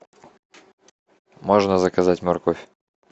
можно заказать морковь